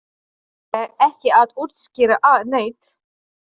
Þú þarft ekki að útskýra neitt.